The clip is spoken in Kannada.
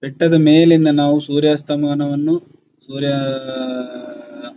ಬೆಟ್ಟದ ಮೇಲಿಂದ ನಾವು ಸೂರ್ಯಾಸ್ತಮವನ ವನ್ನು ಸೂರ್ಯಆಆಅ--